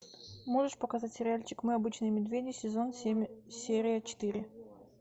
можешь показать сериальчик мы обычные медведи сезон семь серия четыре